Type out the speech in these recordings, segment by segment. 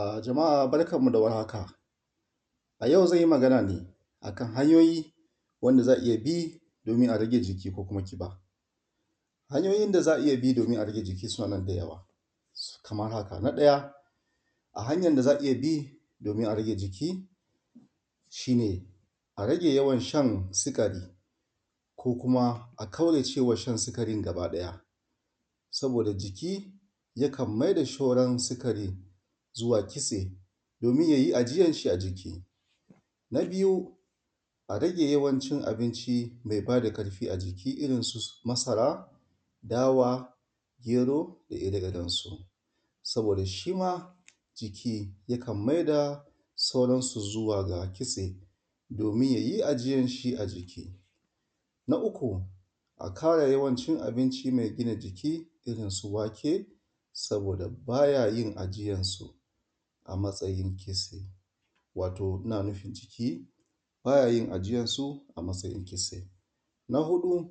A jama’a barkan mu da warhaka a yau zanyi Magana akan hanyoyi wanda za’a iyya bi domin a rage jiki ko kuma ƙiba. Hanyoyin daza a iyya bi domin a rage sunanan da yawa. Kaman wannan na ɗaya a hanyan da za’a iyya bi domin a rage jiki shine a rage yawan shan sikari ko kuma a kaurace wa shan sikari gaba ɗaya saboda jiki yakan maida sauran sikari izuwa kitse domin yayi ajiyanshi a jiki. Na biyu a rage yawancin abinci mai bada ƙarfi a jiki irrinsu masara, dawa, gero da ire irensu saboda shima jiki yakan maida sauransu zuwa kitse domin yayi ajiyanshi a jiki. Na uku ƙara yawancin abinci mai gina jiki irrinsu wake saboda yayin ajiyansu a matsayin kitse, wato inna nufin jiki bayayin ajiyansu a matsayin kitse. Na huɗu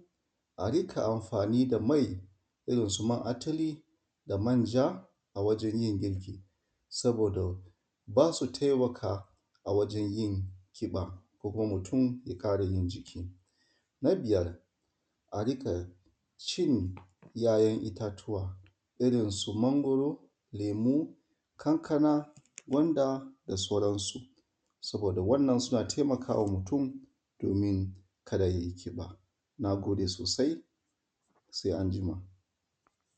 a rinkayin amfani da mai irrinsu man atuli da manja a wajen yin girki saboda basu taimaka wajen yin ƙiba ko kuma mutun ya ƙarayin jiki. Na biyar a riƙacin ‘ya’ ‘yan’ ittatuwa irrinsu mangwaro, lemu, kankana, gwanda da sauransu. Saboda wannan suna taimakawa mutum domin kada yayi ƙib. Nagode sosai